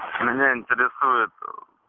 меня интересует ээ